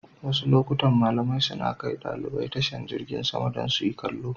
Wasu lokutan malamai suna kai ɗalibai tashar jingin sama don su yi kallo.